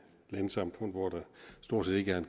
landsamfund hvor der stort set ikke